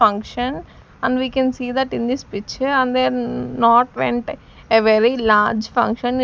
function and we can see that in this picture and they're not went a very large function that--